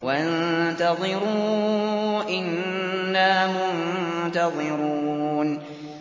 وَانتَظِرُوا إِنَّا مُنتَظِرُونَ